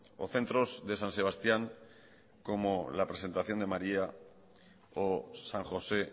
o centros de san sebastián como la presentación de maría o san josé